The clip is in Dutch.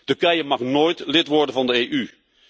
Turkije mag nooit lid worden van de EU.